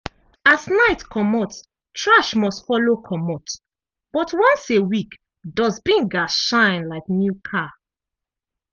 as night comot trash must follow comot. but once a week dust bin gats shine like new car.